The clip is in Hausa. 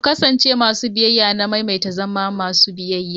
Ku kasance masu biyayya, na maimaita zama masu biyayya.